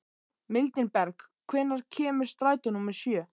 Mildinberg, hvenær kemur strætó númer sjö?